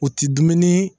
O ti dumuni